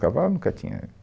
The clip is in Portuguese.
Cavalo nunca tinha.